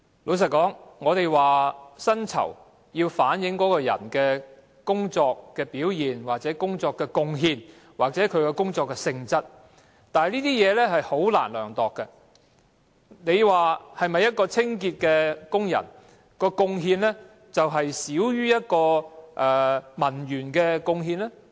老實說，有人或會說薪酬要反映員工的工作表現或工作的貢獻或其工作性質，但這些準則均難以量度，你能否說一名清潔工人的貢獻少於一名文員的貢獻？